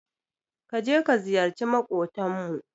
Ka je ka ziyarci maƙotanmu.